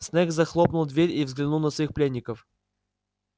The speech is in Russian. снегг захлопнул дверь и взглянул на своих пленников